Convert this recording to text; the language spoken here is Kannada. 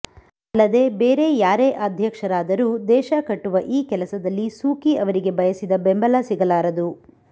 ಅಲ್ಲದೇ ಬೇರೆ ಯಾರೇ ಅಧ್ಯಕ್ಷರಾದರೂ ದೇಶ ಕಟ್ಟುವ ಈ ಕೆಲಸದಲ್ಲಿ ಸೂಕಿ ಅವರಿಗೆ ಬಯಸಿದ ಬೆಂಬಲ ಸಿಗಲಾರದು